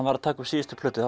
var að taka upp síðustu plötu þá